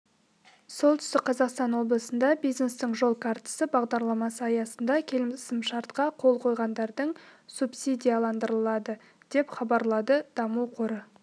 солтүстік қазақстан облысында бизнестің жол картасы бағдарламасы аясында келісімшартқа қол қойғандардың субсидияландырылады деп хабарлады даму қоры